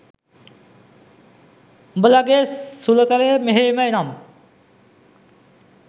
උඔලගෙ සුලුතරය මෙහෙම නම්